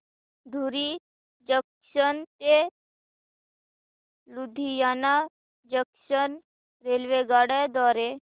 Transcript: धुरी junction ते Ludhiana junction रेल्वेगाड्यां द्वारे